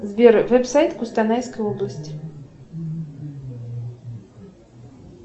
сбер веб сайт костанайской области